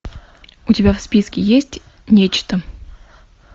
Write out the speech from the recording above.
у тебя в списке есть нечто